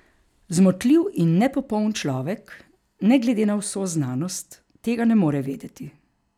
Zmotljiv in nepopoln človek, ne glede na vso znanost, tega ne more vedeti.